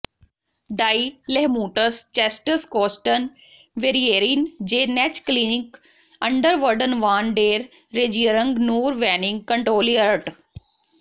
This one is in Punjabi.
ਡਾਈ ਲੇਹਮੂਟਰਸਚੈਸਟਸਕੋਸਟਨ ਵੇਰੀਏਰੀਨ ਜੇ ਨੈਚ ਕਲੀਨਿਕ ਅੰਡਰ ਵਰਡਨ ਵਾਨ ਡੇਰ ਰੇਜੀਅਰੰਗ ਨੂਰ ਵੈਨਿਗ ਕੰਟ੍ਰੋਲਿਅਰਟ